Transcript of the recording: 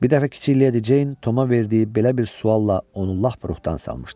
Bir dəfə kiçik Leydi Ceyn Toma verdiyi belə bir sualla onu lap ruhdan salmışdı.